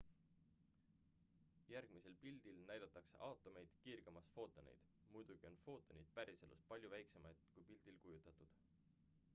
järgmisel pildil näidatakse aatomeid kiirgamas footoneid muidugi on footonid päriselus palju väiksemad kui pildil kujutatud